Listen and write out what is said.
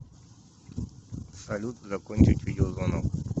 салют закончить видеозвонок